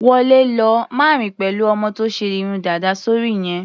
Wọlé lọ! Má rìn pẹ̀lú ọmọ tó ṣe irun dàda sóri yẹn.